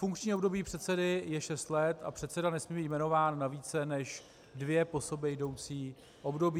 Funkční období předsedy je šest let a předseda nesmí být jmenován na více než dvě po sobě jdoucí období.